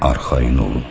arxayın olun.